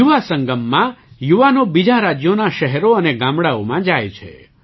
યુવા સંગમમાં યુવાનો બીજાં રાજ્યોનાં શહેરો અને ગામડાંઓમાં જાય છે